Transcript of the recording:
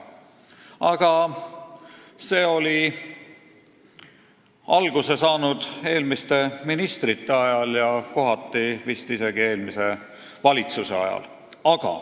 Aga see sai alguse eelmiste ministrite ajal ja mõnes osas vist isegi eelmise valitsuse ajal.